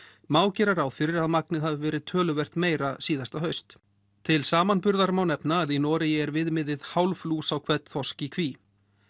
má gera ráð fyrir að magnið hafi verið töluvert meira síðasta haust til samanburðar má nefna að í Noregi er viðmiðið hálf lús á hvern þorsk í kví